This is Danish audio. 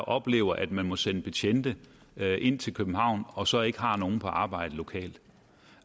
oplever at man må sende betjente ind til københavn og så ikke har nogen på arbejde lokalt